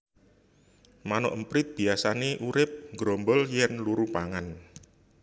Manuk emprit biyasané urip nggrombol yèn luru pangan